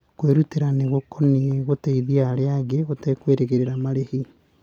Kwĩrutĩra nĩ gũkonie gũteithia arĩa angĩ ũtekwĩrĩgĩrĩra marĩhi.